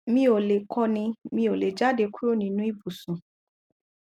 mi ò lè kọni mi ò lè jáde kúrò nínú ibùsùn